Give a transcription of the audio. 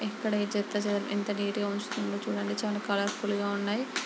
ఇక్కడ చేత చెదారం ఎంత నీట్ గా ఉంచుతుందో చూడండి. చాలా కలర్ ఫుల్ గా ఉన్నాయి.